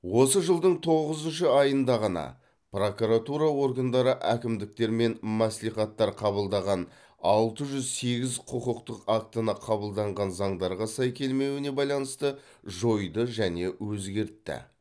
осы жылдың тоғызыншы айында ғана прокуратура органдары әкімдіктер мен мәслихаттар қабылдаған алты жүз сегіз құқықтық актіні қабылданған заңдарға сай келмеуіне байланысты жойды және өзгертті